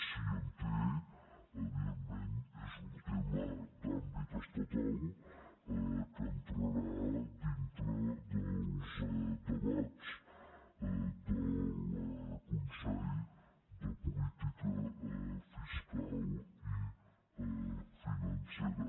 si en té evidentment és un tema d’àmbit estatal que entrarà dintre dels debats del consell de política fiscal i financera